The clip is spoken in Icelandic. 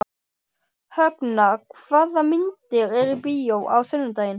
Högna, hvaða myndir eru í bíó á sunnudaginn?